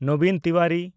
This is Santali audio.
ᱱᱚᱵᱤᱱ ᱛᱤᱣᱟᱨᱤ